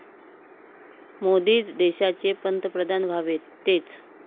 मोदीच देशाचे पंतप्रधान व्हावेत, तेच